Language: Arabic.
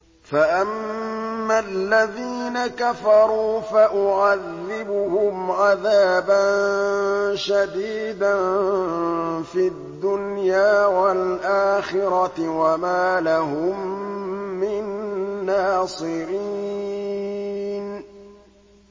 فَأَمَّا الَّذِينَ كَفَرُوا فَأُعَذِّبُهُمْ عَذَابًا شَدِيدًا فِي الدُّنْيَا وَالْآخِرَةِ وَمَا لَهُم مِّن نَّاصِرِينَ